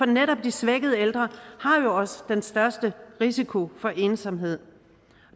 netop de svækkede ældre har jo også den største risiko for ensomhed